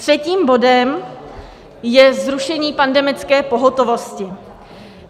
Třetím bodem je zrušení pandemické pohotovosti.